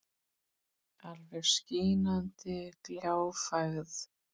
Alveg skínandi gljáfægð.